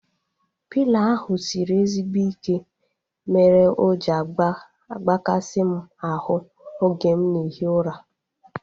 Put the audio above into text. Pịlo ahu sịrị ezigbo ike mere o ji agbakasi m ahu oge m na ehi ụra